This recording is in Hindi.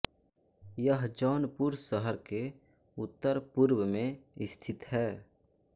यह जौनपुर शहर के उत्तर पुर्व मे स्थित है